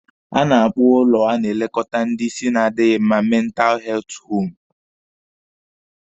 A na-akpọ ụlọ a na-elekọta ndị isi na-adịghi mma mentalụ heltụ hoomụ